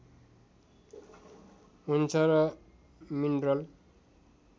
हुन्छ र मिनरल